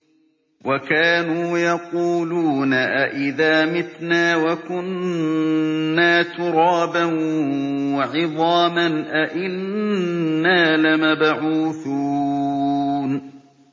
وَكَانُوا يَقُولُونَ أَئِذَا مِتْنَا وَكُنَّا تُرَابًا وَعِظَامًا أَإِنَّا لَمَبْعُوثُونَ